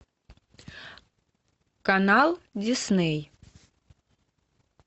канал дисней